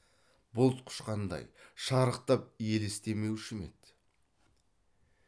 бұлт құшқандай шарықтап елестемеуші ме еді